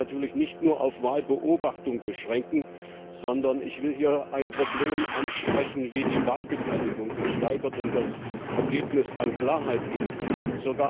Das kann sich natürlich nicht nur auf Wahlbobachtung beschränken, sondern ich will hier ein Problem ansprechen, wie die Wahlbeteiligung gesteigert und das Ergebnis an Klarheit gewinnen kann.